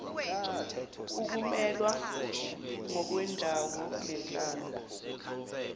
ukumelwa ngokwendawo nenhlalo